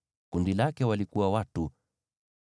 Kundi lake lina watu 45,650.